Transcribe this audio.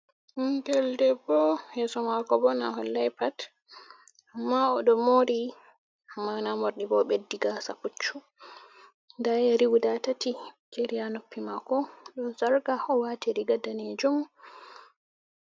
Ɓingel bebbo yeso mako bo na hollai pat, amma o ɗo mori amma namorɗi ba o ɓeddi gasa puccu, nda yiri guda tati jeri ha noppi mako, ɗom sarka ha o wati riga dane jum.